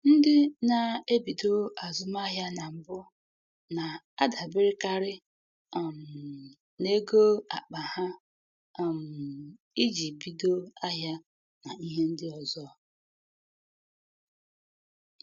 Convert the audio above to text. Ndị na-ebido azụmahịa na mbụ na-adaberekarị um n'ego akpa ha um iji bido ahịa na ihe ndị ọzọ.